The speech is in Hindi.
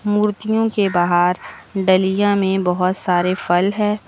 मूर्तियों के बाहर डलिया में बहोत सारे फल है।